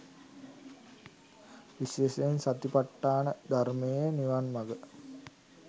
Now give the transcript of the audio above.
විශේෂයෙන් සතිපට්ඨාන ධර්මය නිවන්මග